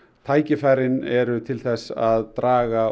tækifærin eru til þess að draga